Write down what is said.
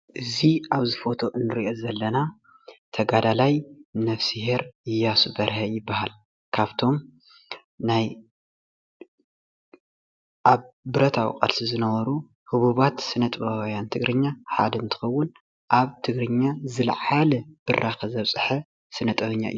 እዙ ኣብዚ ፎቶ እንሪኦ ዘለና ተጋዳላይ ነብሴሄር ኢያሱ በርሀ ይበሃል። ካብቶም ናይ ኣብ ብረታዊ ቃልሲ ዝነበሩ ህቡባት ስነ ጥበባውያን ትግርኛ ሓደ እንትኸውን ኣብ ትግርኛ ዝለዓለ ብራከ ዘብፀሐ ስነጥበበኛ እዩ።